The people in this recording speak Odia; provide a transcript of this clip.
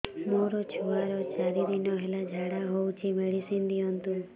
ମୋର ଛୁଆର ଚାରି ଦିନ ହେଲା ଝାଡା ହଉଚି ମେଡିସିନ ଦିଅନ୍ତୁ